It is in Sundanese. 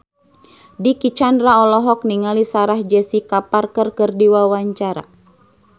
Dicky Chandra olohok ningali Sarah Jessica Parker keur diwawancara